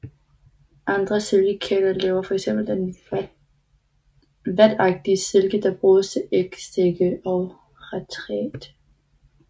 Andre silkekirtler laver fx den vatagtige silke der bruges til ægsække og retræte